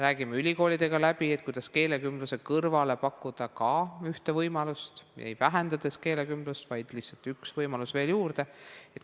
Räägime ülikoolidega läbi, kuidas keelekümbluse kõrvale pakkuda ka ühte võimalust, mitte vähendades keelekümblust, vaid lihtsalt üks võimalus veel juurde.